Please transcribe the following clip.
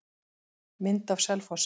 Mynd af Selfossi.